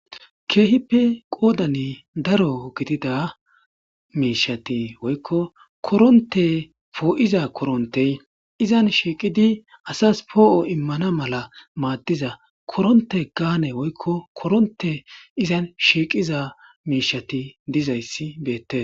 Kehippe qoodani daro gidida miishati woyiko koronte poo'iza korontey izan shiiqidi asas poo'o immana mala maaddiza koronte gaane woykko koronte izan shiiqiza miishati dizayssi beette